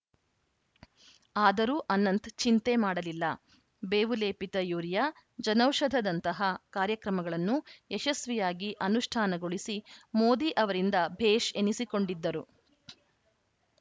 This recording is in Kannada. ಆದರೂ ಅನಂತ್‌ ಚಿಂತೆ ಮಾಡಲಿಲ್ಲ ಬೇವುಲೇಪಿತ ಯೂರಿಯಾ ಜನೌಷಧದಂತಹ ಕಾರ್ಯಕ್ರಮಗಳನ್ನು ಯಶಸ್ವಿಯಾಗಿ ಅನುಷ್ಠಾನಗೊಳಿಸಿ ಮೋದಿ ಅವರಿಂದ ಭೇಷ್‌ ಎನಿಸಿಕೊಂಡಿದ್ದರು